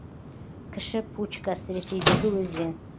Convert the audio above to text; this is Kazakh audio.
кіші пучкас ресейдегі өзен